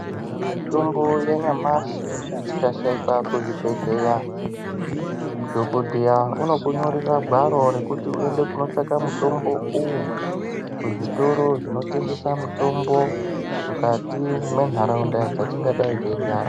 Mitombo yenyamashe ikashayika kuzvibhedlera dhokoteya unogona kurira gwaro rekuti uende kotsvaka mitombo uwu kuzvitoro zvinotengesa mutombo mukati mwenharaunda yatingadei tegara